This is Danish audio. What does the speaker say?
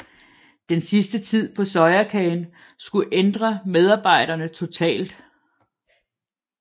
Denne sidste tid på Sojakagen skulle ændre medarbejderne totalt